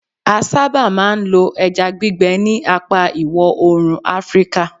a saba ma n lo eja gbigbe ni apa iwo oorun afrika